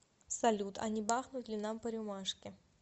салют а не бахнуть ли нам по рюмашке